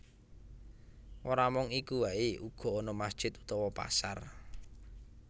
Ora mung iku waé uga ana masjid utawa pasar